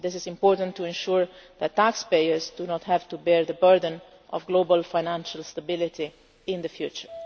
banks. This is important to ensure that taxpayers do not have to bear the burden of global financial stability in the